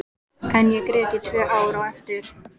En ég grét í tvö ár á eftir.